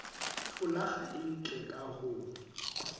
folaga e ntle ka ho